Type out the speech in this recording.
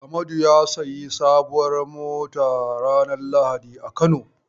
Amadu ya sayi sabuwar mota ranar lahadi a Kano.